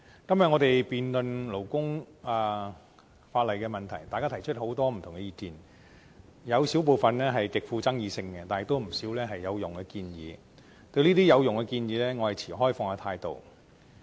今天我們辯論有關勞工法例的問題，大家提出很多不同意見，有少部分極富爭議性，但亦有不少有用的建議，對於這些有用的建議，我持開放態度。